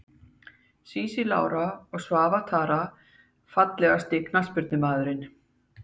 Sísí Lára og Svava Tara Fallegasti knattspyrnumaðurinn?